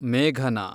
ಮೇಘನಾ